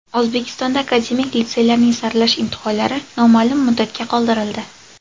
O‘zbekistonda akademik litseylarning saralash imtihonlari noma’lum muddatga qoldirildi.